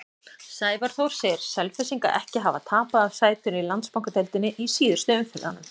Sævar Þór segir Selfyssinga ekki hafa tapað af sætinu í Landsbankadeildinni í síðustu umferðunum.